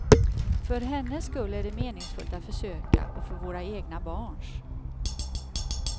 För hennes skull är det meningsfullt att försöka och för våra egna barns.